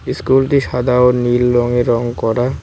ইস্কুলটি সাদা ও নীল রঙে রং করা।